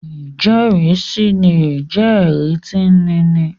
ijẹrisi lè jé ẹri tí níni